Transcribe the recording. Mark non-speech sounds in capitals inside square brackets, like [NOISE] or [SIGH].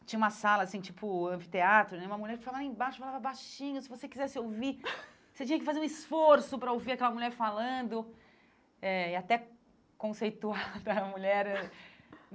Tinha uma sala, assim tipo anfiteatro né, e uma mulher que ficava lá embaixo, falava baixinho, se você quisesse ouvir, você tinha que fazer um esforço para ouvir aquela mulher falando eh e até conceituar [LAUGHS] para a mulher.